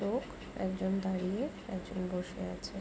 লোক একজন দাঁড়িয়ে একজন বসে আছে।